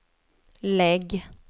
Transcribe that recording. lägg